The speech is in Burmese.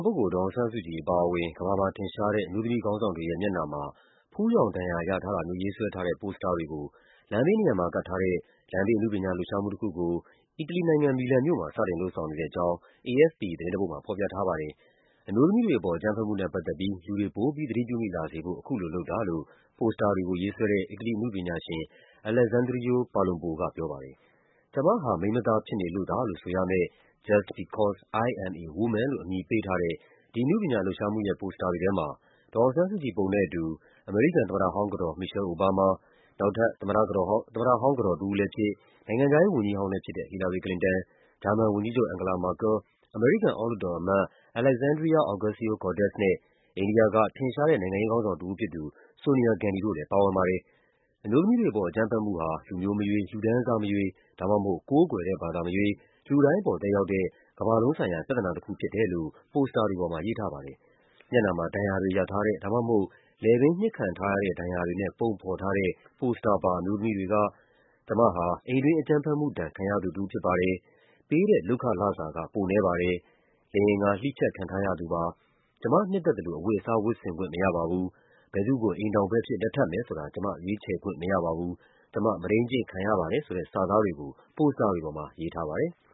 ပုဂ္ဂိုလ် ဒေါ်အောင်ဆန်းစုကြည်အပါအဝင် ကမ္ဘာမှာထင်ရှားတဲ့ အမျိုးသမီးခေါင်းဆောင်တွေရဲ့ မျက်နှာမှာ ဖူးယောင်ဒဏ်ရာရထားတာမျိုး ရေးဆွဲထားတဲ့ ပိုစတာတွေကို လမ်းဘေးနံရံမှာကပ်ထားတဲ့ လမ်းဘေးအနုပညာလှုပ်ရှားမှုတခုကို အီတလီနိုင်ငံ၊ မီလန်မြို့မှာ စတင်လုပ်ဆောင်နေတဲ့အကြောင်း AFP သတင်းတပုဒ်မှာ ဖော်ပြထားပါတယ်။ အမျိုးသမီးတွေအပေါ် အကြမ်းဖက်မှုနဲ့ပတ်သက်ပြီး လူတွေ ပိုပြီး သတိပြုမိလာစေဖို့ အခုလိုလုပ်တာလို့ ပိုစတာတွေကို ရေးဆွဲတဲ့ အီတလီအနုပညာရှင် AleXsandrio Palombo ကပြောပါတယ်။ “ကျမဟာ မိန်းမသားဖြစ်နေလို့သာ” လို့ဆိုရမယ့် “Just Because I am a Woman” လို့ အမည်ပေးထားတဲ့ ဒီအနုပညာလှုပ်ရှားမှု ရဲ့ ပိုစတာတွေထဲမှာ ဒေါ်အောင်ဆန်းစုကြည် ပုံနဲ့အတူ အမေရိကန် သမ္မတဟောင်းကတော် Michelle Obama ၊ နောက်ထပ် သမ္မတဟောင်းကတော် တဦးလည်းဖြစ်၊ နိုင်ငံခြားရေးဝန်ကြီးဟောင်းလည်းဖြစ်တဲ့ Hillary Clinton ၊ ဂျာမန်ဝန်ကြီးချုပ် Angela Merkel ၊ အမေရိကန် အောက်လွှတ်တော်အမတ် Alexandria Ocasio-Cortez နဲ့ အိန္ဒိယက ထင်ရှားတဲ့ နိုင်ငံရေးခေါင်းဆောင် တဦးဖြစ်သူ Sonia Gandhi တို့လည်း ပါဝင်ပါတယ်။ “အမျိုးသမီးတွေအပေါ် အကြမ်းဖက်မှုဟာ လူမျိုးမရွေး၊ လူတန်းစားမရွေး ဒါမှမဟုတ် ကိုးကွယ်တဲ့ဘာသာမရွေး လူတိုင်းပေါ် သက်ရောက်တဲ့ ကမ္ဘာလုံးဆိုင်ရာပြဿနာတခုဖြစ်တယ်” လို့ ပိုစတာတွေပေါ်မှာ ရေးထားပါတယ်။ မျက်နှာမှာ ဒဏ်ရာတွေရထားတဲ့၊ ဒါမှမဟုတ် လည်ပင်းညှစ်ခံထားရတဲ့ ဒဏ်ရာတွေနဲ့ ပုံဖော်ထားတဲ့ ပိုစတာပါ အမျိုးသမီးတွေက “ကျမဟာ အိမ်တွင်းအကြမ်းဖက်မှုဒဏ် ခံရသူတဦးဖြစ်ပါတယ်၊ ပေးတဲ့လုပ်ခလစာက ပိုနည်းပါတယ်၊ လိင်အင်္ဂါ လှီးဖြတ်ခံထားရ ပါတယ်၊ ကျမနှစ်သက်သလို အဝတ်အစား ဝတ်ဆင်ခွင့်မရပါဘူး၊ ဘယ်သူ့ကို အိမ်ထောင်ဘက်အဖြစ် လက်ထပ်မယ်ဆိုတာ ကျမ ရွေးချယ်ခွင့်မရပါဘူး၊ ကျမ မုဒိန်းကျင့်ခံရပါတယ်” ဆိုတဲ့စာသားတွေကို ပိုစတာတွေမှာ ရေးထားပါတယ်။